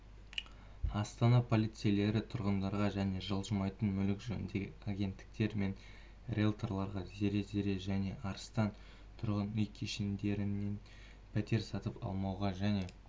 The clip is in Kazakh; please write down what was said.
астана полицейлері тұрғындарға және жылжымайтын мүлік жөніндегі агенттіктер мен риелторларға зере зере және арыстан тұрғын үй кешендерінен пәтер сатып алмауға және